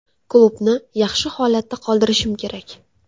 Klubni yaxshi holatda qoldirishim kerak.